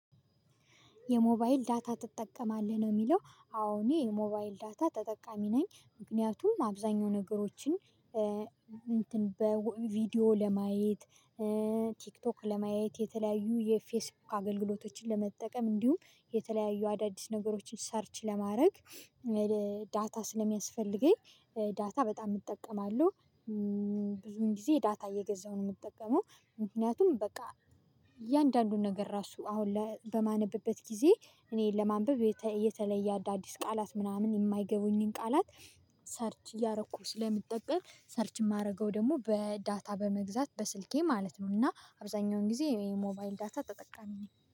የሞባይል ዳታ ትጠቀማለህ ነው የሚለው? አዎ እኔ የሞባይል ዳታ ተጠቃሚ ነኝ ምክንያቱም አብዛኛው ነገሮችን እንትን በቪዲዮ ለማየት ቲክቶክ ለማየት የተለያዩ የፌስቡክ አገልግሎቶችን ለመጠቀም እንዲሁም የተለያዩ አዳዲስ ነገሮችን ሰርች ለማድረግ ዳታ ስለሚያስፈልገኝ ዳታ በጣም እጠቀማለሁ። ብዙን ጊዜ ዳታ እየገዛሁ ነው የምጠቀመው ምክንያቱም በቃ እያንዳንዱን ነገር ራሱ አሁን በማነበበት ጊዜ እኔን ለማንበብ የተለየ አዳዲስ ቃላት ምናምን የማይገቡኝን ቃላት ሰርች እያረኩ ስለምጠቀም ሰርች የማደርገው ደግሞ በዳታ በመግዛት በስልኬ ማለት ነው እና አብዛኛውን ጊዜ የሞባይል ዳታ ተጠቃሚ ነው